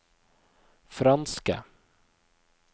franske